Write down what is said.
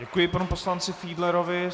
Děkuji panu poslanci Fiedlerovi.